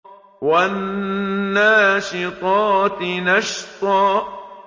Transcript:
وَالنَّاشِطَاتِ نَشْطًا